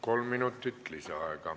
Kolm minutit lisaaega.